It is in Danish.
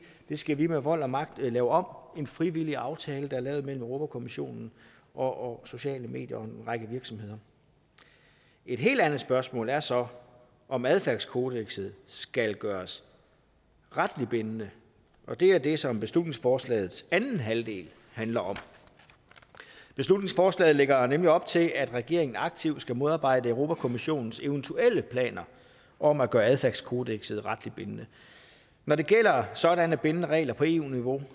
det skal vi med vold og magt lave om en frivillig aftale der er indgået mellem europa kommissionen og sociale medier og en række virksomheder et helt andet spørgsmål er så om adfærdskodekset skal gøres retligt bindende og det er det som beslutningsforslagets anden halvdel handler om beslutningsforslaget lægger nemlig op til at regeringen aktivt skal modarbejde europa kommissionens eventuelle planer om at gøre adfærdskodekset retligt bindende når det gælder sådanne bindende regler på eu niveau